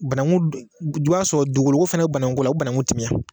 Banaŋu dun j i b'a sɔrɔ dugukolo ko fɛnɛ be banaŋu ko la o be banaŋu timiya.